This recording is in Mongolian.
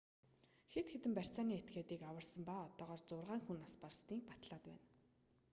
хэд хэдэн барьцааны этгээдийг аварсан ба одоогоор зургаан хүн нас барсаныг батлаад байна